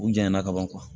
U janyana ka ban